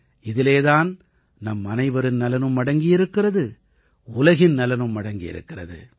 இதிலே தான் நம்மனைவரின் நலனும் அடங்கியிருக்கிறது உலகின் நலனும் அடங்கியிருக்கிறது